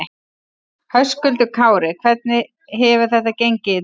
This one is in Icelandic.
Höskuldur Kári: Hvernig hefur þetta gengið í dag?